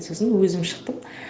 сосын өзім шықтым